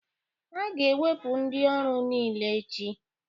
A ga-ewepụ ndị ọrụ niile echi